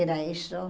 Era isso.